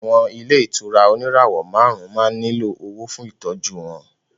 Àwọn ilé ìtura oníràwọ̀ márùn-ún máa ń nílò owó fún Ìtọ́jú wọn